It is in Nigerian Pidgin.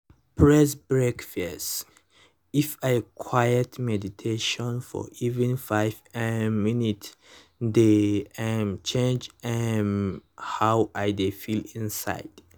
press break first —if i quiet meditate for even five um minutes dey um change um how i dey feel inside